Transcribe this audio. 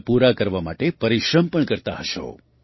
તેમને પૂરા કરવા માટે પરિશ્રમ પણ કરતા હશો